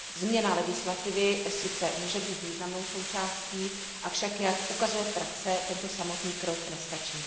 Změna legislativy sice může být významnou součástí, avšak jak ukazuje praxe, tento samotný krok nestačí.